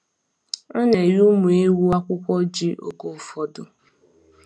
A na-enye ụmụ ewu akwụkwọ ji oge ụfọdụ.